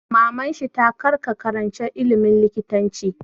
Maman shi ta 'Kar ka karanci ilimin likitanci'!